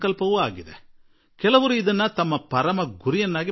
ಇನ್ನೂ ಕೆಲವು ಭಾರತೀಯರು ಇದನ್ನು ತಮ್ಮ ಘನ ಉದ್ದೇಶವಾಗಿ ಮಾಡಿಕೊಂಡಿದ್ದಾರೆ